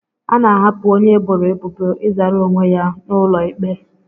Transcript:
A na-ahapụ onye eboro ebubo ịzara onwe ya n'ụlọ ikpe